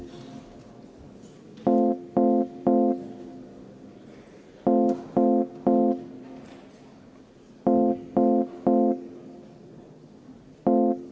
Riigikogu kodu- ja töökorra seaduse § 106 lõike 2 alusel ei kuulu ettepanek hääletamisele.